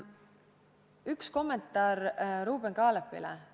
Üks kommentaar Ruuben Kaalepile.